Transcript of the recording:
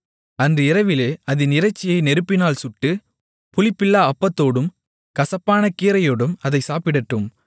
அன்று இரவிலே அதின் இறைச்சியை நெருப்பினால் சுட்டு புளிப்பில்லா அப்பத்தோடும் கசப்பான கீரையோடும் அதைச் சாப்பிடட்டும்